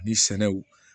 Ni sɛnɛw